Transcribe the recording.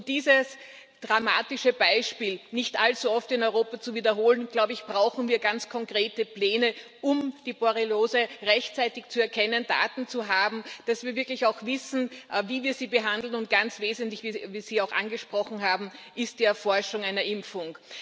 Um dieses dramatische Beispiel nicht allzu oft in Europa zu wiederholen, glaube ich, brauchen wir ganz konkrete Pläne, um die Borreliose rechtzeitig zu erkennen, Daten zu haben, damit wir auch wissen, wie wir sie behandeln, und ganz wesentlich wie Sie auch angesprochen haben ist die Erforschung einer Impfung.